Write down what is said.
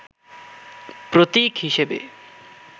প্রতীক হিসেবে